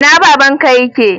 Ina babanka yake?